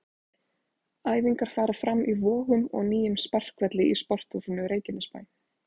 Æfingar fara fram í Vogum og nýjum sparkvelli í Sporthúsinu Reykjanesbæ.